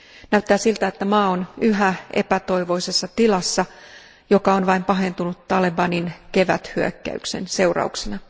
Näyttää siltä, että maa on yhä epätoivoisessa tilassa, joka on vain pahentunut talebanin keväthyökkäyksen seurauksena.